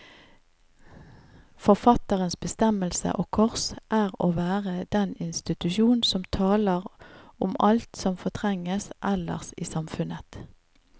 Forfatterens bestemmelse, og kors, er å være den institusjon som taler om alt som fortrenges ellers i samfunnet.